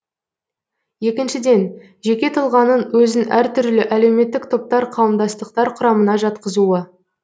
екіншіден жеке тұлғаның өзін әртүрлі әлеуметтік топтар қауымдастықтар құрамына жатқызуы